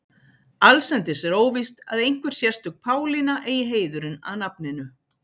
Allsendis er óvíst að einhver sérstök Pálína eigi heiðurinn að nafninu.